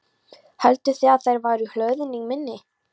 Hélduð þið að þeir væru í hlöðunni minni?